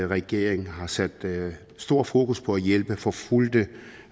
regeringen har sat stort fokus på at hjælpe forfulgte